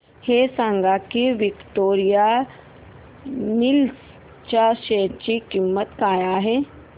हे सांगा की विक्टोरिया मिल्स च्या शेअर ची किंमत काय आहे